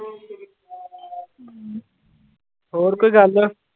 ਹੋਰ ਕੋਈ ਗੱਲ?